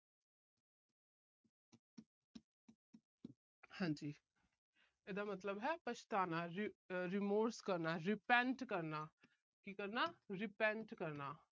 ਹਾਂਜੀ। ਇਹਦਾ ਮਤਲਬ ਹੈ ਪਛਤਾਉਣਾ। remorse ਕਰਨਾ। repent ਕਰਨਾ। ਕੀ ਕਰਨਾ repent ਕਰਨਾ।